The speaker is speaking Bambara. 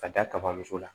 Ka da kaba so la